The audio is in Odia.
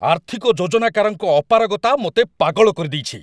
ଆର୍ଥିକ ଯୋଜନାକାରଙ୍କ ଅପାରଗତା ମୋତେ ପାଗଳ କରିଦେଇଛି!